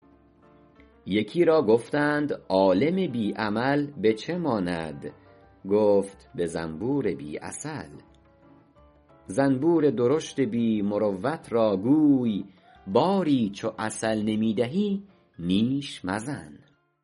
یکی را گفتند عالم بی عمل به چه ماند گفت به زنبور بی عسل زنبور درشت بی مروت را گوی باری چو عسل نمی دهی نیش مزن